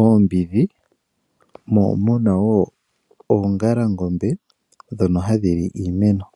oombidhi mo omuna wo oongalangombe ndho hadhi li iimeno.